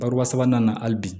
Bari sabanan nana hali bi